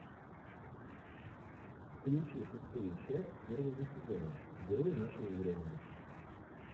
включи шестую часть первого сезона герои нашего времени